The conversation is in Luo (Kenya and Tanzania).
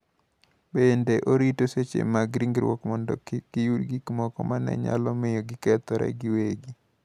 Bende, orito seche mag ringruok mondo kik giyud gik moko ma ne nyalo miyo gikethore giwegi.